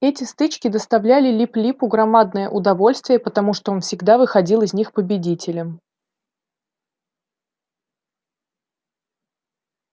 эти стычки доставляли лип липу громадное удовольствие потому что он всегда выходил из них победителем